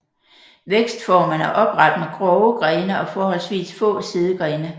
Vækstformen er opret med grove grene og forholdsvis få sidegrene